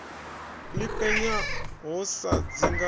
ḽi penya ho sa dzinga